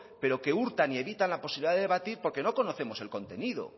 pero que hurtan y evitan la posibilidad de debatir porque no conocemos el contenido